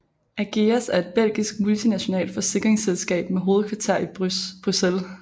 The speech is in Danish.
Ageas er et belgisk multinationalt forsikringsselskab med hovedkvarter i Bryssel